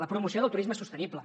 la promoció del turisme sostenible